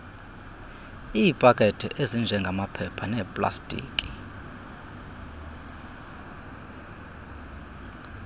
iipakethe ezinjengamaphepha neplastiki